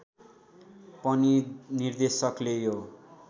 पनि निर्देशकले यो